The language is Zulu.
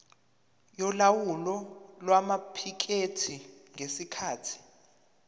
yolawulo lwamaphikethi ngesikhathi